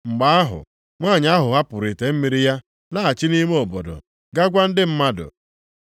Mgbe ahụ, nwanyị ahụ hapụrụ ite mmiri ya laghachi nʼime obodo ga gwa ndị mmadụ,